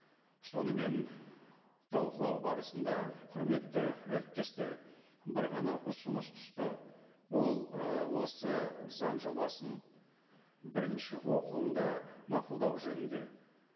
сонымен талқылау барысында құрметті әріптестер бір ғана ұсыныс түсті ол ы осы заң жобасын бірінші оқылымда мақұлдау жөнінде